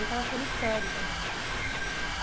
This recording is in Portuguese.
Eu estava ficando histérica já.